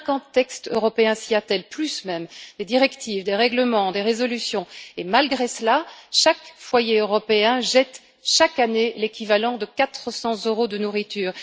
Cinquante textes européens s'y attellent, plus même des directives, des règlements, des résolutions et malgré cela, chaque foyer européen jette chaque année l'équivalent de 400 euros de nourriture.